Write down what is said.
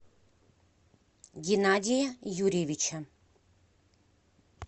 геннадия юрьевича